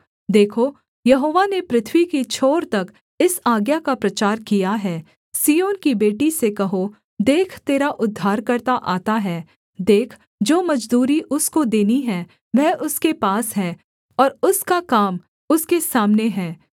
देखो यहोवा ने पृथ्वी की छोर तक इस आज्ञा का प्रचार किया है सिय्योन की बेटी से कहो देख तेरा उद्धारकर्ता आता है देख जो मजदूरी उसको देनी है वह उसके पास है और उसका काम उसके सामने है